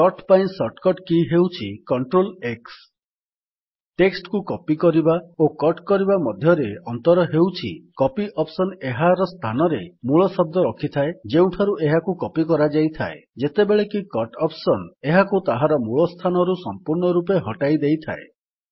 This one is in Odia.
କଟ୍ ପାଇଁ ଶର୍ଟକଟ୍ କୀ ହେଉଛି - CTRLX ଟେକ୍ସଟ୍ କୁ କପି କରିବା ଓ କଟ୍ କରିବା ମଧ୍ୟରେ ଅନ୍ତର ହେଉଛି କପି ଅପ୍ସନ୍ ଏହାର ସ୍ଥାନରେ ମୂଳ ଶବ୍ଦ ରଖିଥାଏ ଯେଉଁଠାରୁ ଏହାକୁ କପି କରାଯାଇଥାଏ ଯେତେବେଳେକି କଟ୍ ଅପ୍ସନ୍ ଏହାକୁ ତାହାର ମୂଳ ସ୍ଥାନରୁ ସପୂର୍ଣ୍ଣ ରୂପେ ହଟାଇ ଦେଇଥାଏ